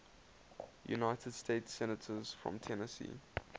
united states senators from tennessee